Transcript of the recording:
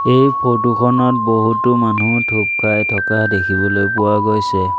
এই ফটো খনত বহুতো মানুহ থুপ খাই থকা দেখিবলৈ পোৱা গৈছে।